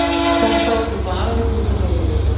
Þetta á þó bara við hluta norðurljósa.